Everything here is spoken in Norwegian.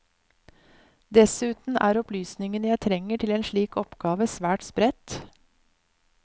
Dessuten er opplysningene jeg trenger til en slik oppgave svært spredt.